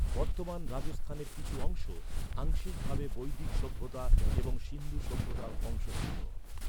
বর্তমান রাজস্থানের কিছু অংশ, আংশিকভাবে বৈদিক সভ্যতা এবং সিন্ধু সভ্যতার অংশ ছিল।